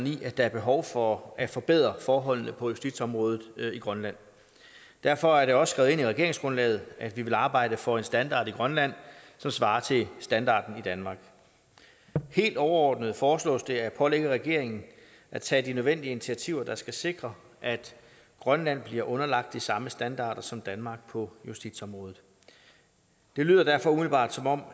i at der er behov for at forbedre forholdene på justitsområdet i grønland derfor er det også skrevet ind i regeringsgrundlaget at vi vil arbejde for en standard i grønland som svarer til standarden i danmark helt overordnet foreslås det at pålægge regeringen at tage de nødvendige initiativer der skal sikre at grønland bliver underlagt de samme standarder som danmark på justitsområdet det lyder derfor umiddelbart som om